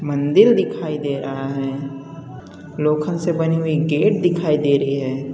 मांदिल दिखाई दे रहा है लोखंन से बनी हुई गेट दिखाई दे रही है।